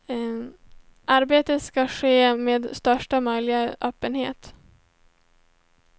Arbetet ska ske med största möjliga öppenhet.